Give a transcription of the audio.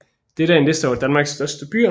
Dette er en liste over Danmarks største byer